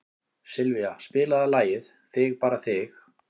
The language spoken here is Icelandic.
Sylvía, spilaðu lagið „Þig bara þig“.